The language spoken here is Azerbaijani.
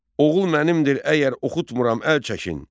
Oğul mənimdir, əgər oxutmuram əl çəkin!